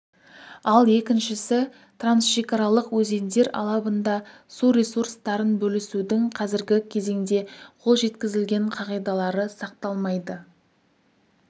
ал екіншісі трансшекаралық өзендер алабында су ресурстарын бөлісудің қазіргі кезеңде қол жеткізілген қағидалары сақталмайды